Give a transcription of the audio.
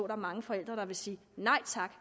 er mange forældre der siger nej tak